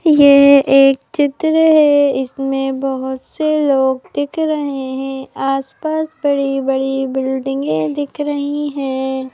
यह एक चित्र है इसमें बहुत से लोग दिख रहे हैं आसपास बड़ी-बड़ी बिल्डिंगें दिख रही है।